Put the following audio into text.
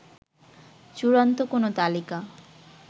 চূড়ান্ত কোন তালিকা